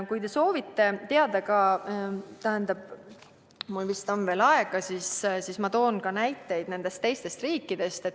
Kui te soovite teada – mul vist on veel aega –, siis ma toon näiteid teistest riikidest.